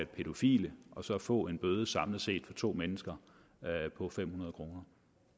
pædofile og så få en bøde samlet set for to mennesker på fem hundrede kroner